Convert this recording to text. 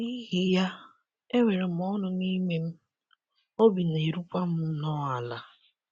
N’ihi ya, enwere m ọṅụ n'ime m, obi na - erukwa m nnọọ ala. ”